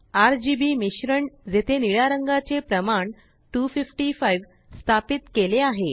RGBमिश्रण जेथे निळा रंगाचे प्रमाण255स्थापित केले आहे